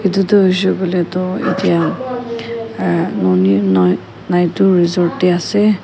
edu tu hoishey koilae tu etya nonae naitu resort tae ase.